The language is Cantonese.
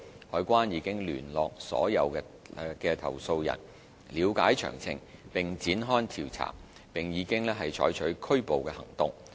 海關已聯絡所有投訴人，了解詳情並展開調查，並已採取拘捕行動。